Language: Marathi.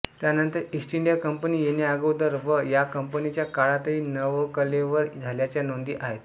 त्यानंतर ईस्ट इंडिया कंपनी येण्याअगोदर व या कंपनीच्या काळातही नवकलेवर झाल्याच्या नोंदी आहेत